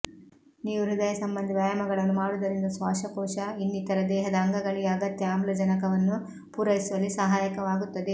ನೀವು ಹೃದಯ ಸಂಬಂಧಿ ವ್ಯಾಯಾಮಗಳನ್ನು ಮಾಡುವುದರಿಂದ ಶ್ವಾಸಕೋಶ ಇನ್ನಿತರ ದೇಹದ ಅಂಗಗಳಿಗೆ ಅಗತ್ಯ ಆಮ್ಲಜನಕವನ್ನು ಪೂರೈಸುವಲ್ಲಿ ಸಹಾಯಕವಾಗುತ್ತದೆ